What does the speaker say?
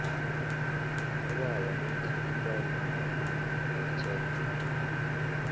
ubaba uthi ipondo ayitjentjwa